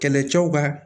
Kɛlɛcɛw ka